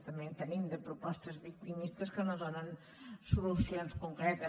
també en tenim de propostes victimistes que no donen solucions concretes